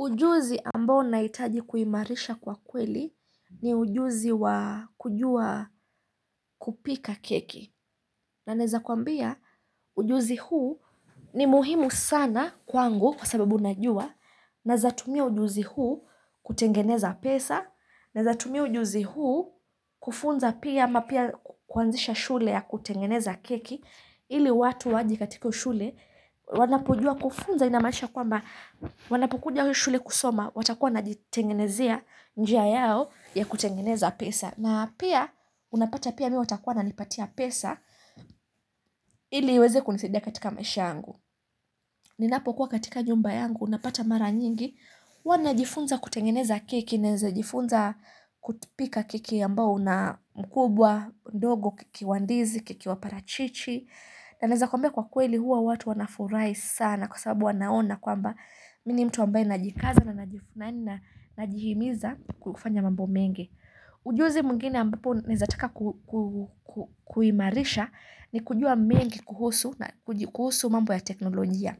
Ujuzi ambao naitaji kuhimarisha kwa kweli ni ujuzi wa kujua kupika keki. Na naneza kuambia ujuzi huu ni muhimu sana kwangu kwa sababu najua. Naeza tumia ujuzi huu kutengeneza pesa. Naeza tumia ujuzi huu kufunza pia ama pia kuazisha shule ya kutengeneza keki. Ili watu waje katika shule wanapojua kufunza inamaanisha kwamba wanapukunja shule kusoma watakuwa wajitengenezea njia yao ya kutengeneza pesa na pia unapata pia mimi watakuwa na nipatia pesa ili iweze kunizaidia katika maisha yangu ninapokuwa katika nyumba yangu napata mara nyingi wanajifunza kutengeneza keki naezajifunza kupika keki ambao na mkubwa ndogo keki wandizi, keki waparachichi Naeneza kuambia kwa kweli huwa watu wanafurahi sana kwa sababu wanaona kwamba mini mtu ambaye najikaza na najihimiza kufanya mambo mengi. Ujuzi mwingine ambapo naeza taka kuhimarisha ni kujua mengi kuhusu mambo ya teknolojia.